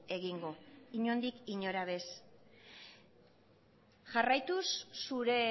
egingo inondik inora bez jarraituz zure